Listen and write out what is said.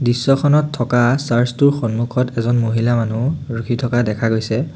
দৃশ্যখনত থকা চাৰ্চ টোৰ সন্মুখত এজন মহিলা মানুহ ৰখি থকা দেখা গৈছে।